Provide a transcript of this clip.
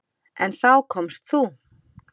En þá komst þú.